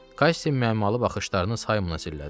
Kassi mənalı baxışlarını Saymona zillədi.